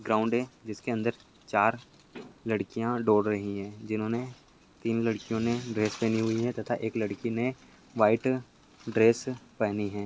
Ground है जिसके अंदर चार लडकीया दौड़ रही है जिन्होने तीन लड्कीयोने ड्रेस पहनी हुई है तथा एक लड्कीने व्हाइट ड्रेस पहनी है।